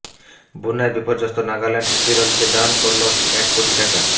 বন্যায় বিপর্যস্ত নাগাল্যান্ড কেরলকে দান করল এক কোটি টাকা